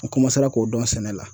N k'o dɔn sɛnɛ la